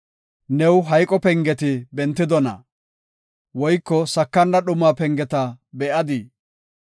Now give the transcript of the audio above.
New hayqo pengeti bentidona? Woyko sakana dhumaa pengeta be7adii?